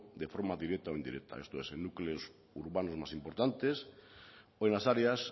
de forma directa o indirecta esto es en núcleos urbanos más importantes o en las áreas